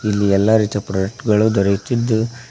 ಇಲ್ಲಿ ಎಲ್ಲಾ ರೀತಿಯ ಪ್ರೋಡೆಕ್ಟ್ ಗಳು ದೊರೆಯುತ್ತಿದ್ದು--